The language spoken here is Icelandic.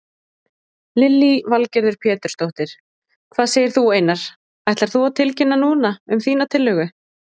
Lillý Valgerður Pétursdóttir: Hvað segir þú Einar, ætlar þú að tilkynna núna um þína tillögu?